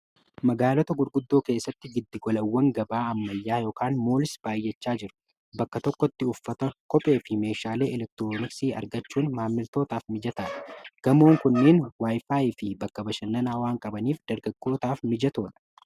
magaalota gurguddoo keessatti giddigolawwan gabaa ammalyaa yn moolis baayyachaa jiru bakka tokkotti uffata kophee fi meeshaalee elektroonisii argachuun maammiltootaaf mijata gamoon kunneen waayifaayi fi bakka bashannanaawaan qabaniif dargakkootaaf mijatoo dha